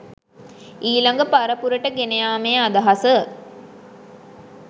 ඊළඟ පරපුරට ගෙන යාමේ අදහස